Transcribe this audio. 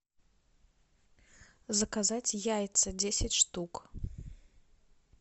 заказать яйца десять штук